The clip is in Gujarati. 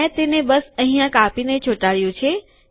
મેં તેને બસ અહીંયા કાપીને ચોંટાડ્યુ છે